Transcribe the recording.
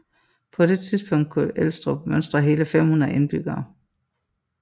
På det tidspunkt kunne Elstrup mønstre hele 500 indbyggere